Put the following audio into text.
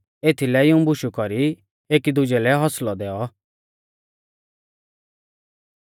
एथीलै इऊं बुशु कौरी एकीदुजै लै हौसलौ दैऔ